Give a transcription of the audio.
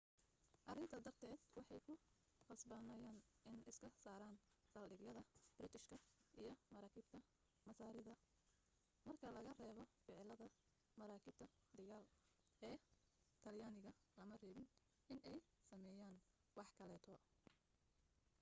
arinta darted waxee ku qasbanayen in iska saaran saldhigyada biritishka iyo maraakibta masaarida marka laga reebo ficiladaa maraakiibta dagaal ee talyaniga lama rabin in ay sameyan wax kaleeto